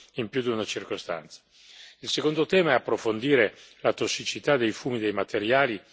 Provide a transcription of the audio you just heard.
Il secondo tema è approfondire la tossicità dei fumi dei materiali anche all'interno.